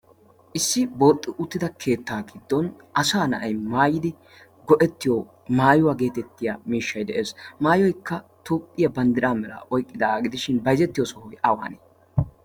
issi booxxi uttida keettaa giddon asa na'ay maayidi go'ettiyo maayuwaa geetettiya miishshay de'ees. maayoikka toophphiyaa banddiraa mera oyqqidagaa gidishin bayzettiyo sohoy awanee?